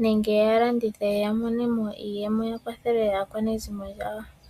nenge ya landithe ya mone mo iiyemo yakwathele aakwanezimo yawo.